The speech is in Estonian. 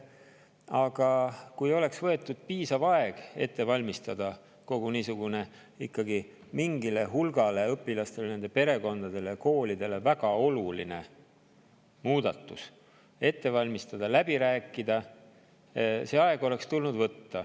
Aga oleks tulnud võtta piisav aeg, et ette valmistada niisugune mingile hulgale õpilastele, nende perekondadele ja koolidele väga oluline muudatus ja see läbi rääkida.